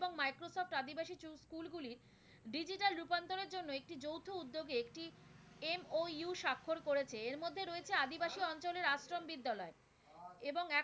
উদ্যোগে একটি MOU স্বাক্ষর করেছে। এর মধ্যে রয়েছে আদিবাসী অঞ্চলের আশ্রম বিদ্যালয় এবং